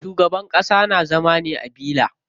Shugaban ƙasa na zama ne a villa.